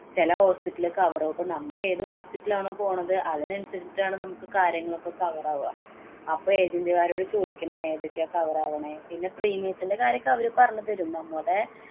ചെല hospital ലെ cover പ്പൊ നമ്മള് ഏതു hospital ലാണോ പോണത് അതിനനുസരിച്ചിട്ടാണ് നമ്മള്‍ക്ക് കാര്യങ്ങള്‍ ഒക്കെ cover ആവുക. അപ്പൊ agent മാരോട് ചോദിക്കണം. ഏതൊക്കെയാ cover ആവണേ? പിന്നെ premium ത്തിന്‍റെ കാര്യമൊക്കെ അവര് പറഞ്ഞു തരും. നമ്മുടെ